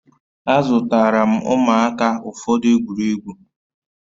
Azụtara m ụmụaka ụfọdụ egwuregwu